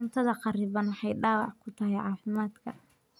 Cunnada kharriban waxay dhaawac ku tahay caafimaadka.